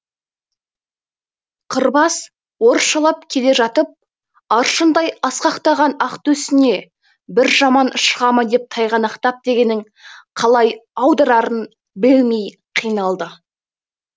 қырбас орысшалап келе жатып аршындай асқақтаған ақ төсіңе бір жаман шыға ма деп тайғанақтап дегенін қалай аударарын білмей қиналды